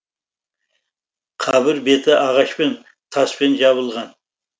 қабір беті ағашпен таспен жабылған